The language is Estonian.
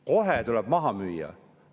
Kohe tuleb need maha müüa.